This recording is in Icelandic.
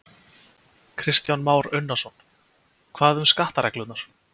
Kristján Már Unnarsson: Hvað um skattareglurnar?